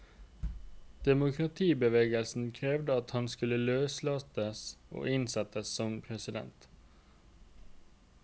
Demokratibevegelsen krevde at han skulle løslates og innsettes som president.